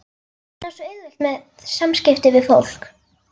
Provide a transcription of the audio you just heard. Hann á svo auðvelt með samskipti við fólk.